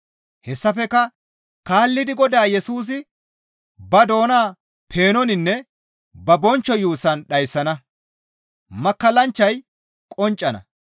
Hessafekka kaallidi Godaa Yesusi ba doona peenoninne ba bonchcho yuussaan dhayssana; makkallanchchay qonccana.